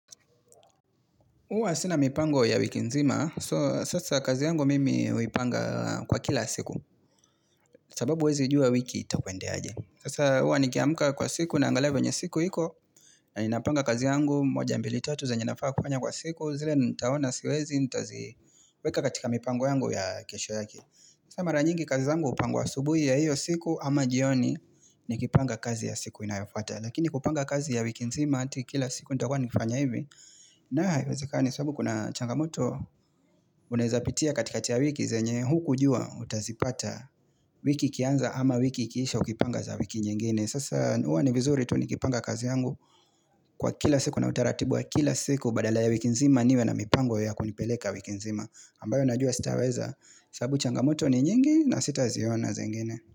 Huwa sina mipango ya wiki nzima, so sasa kazi yangu mimi huipanga kwa kila siku, sababu huwezijua wiki itakwendeaje. Sasa huwa nikiamuka kwa siku naangalia venye siku iko, na ninapanga kazi yangu, moja mbili tatu zenye nafaa kufanya kwa siku, zile nitaona siwezi, nitaziweka katika mipango yangu ya kesho yake. Sa mara nyingi kazi yangu hupangwa asubuhi ya hiyo siku, ama jioni nikipanga kazi ya siku inayofuata. Lakini kupanga kazi ya wiki mzima ati kila siku Ntakuwa nkifanya hivi nayo haiwezekani sababu kuna changamoto unaezapitia katikati ya wiki zenye hukujua utazipata wiki ikianza ama wiki ikiisha Ukipanga za wiki nyingine Sasa huwa ni vizuri tu nikipanga kazi yangu Kwa kila siku na utaratibu wa kila siku Badala ya wiki nzima niwe na mipango ya kunipeleka wiki nzima ambayo najua sitaweza sababu changamoto ni nyingi na sitaziona zengine.